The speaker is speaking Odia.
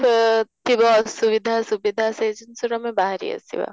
ଅଃ ଥିବ ଅସୁବିଧା ସୁବିଧା ସେ ଜିନଷରୁ ଆମେ ବାହାରି ଆସିବା